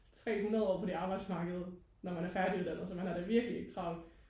tre hundrede år på det arbejdsmarked når man er færdiguddannet så man har da virkelig ikke travlt